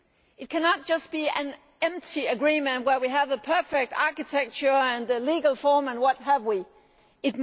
It cannot just be an empty agreement, where we have a perfect architecture and legal form and so on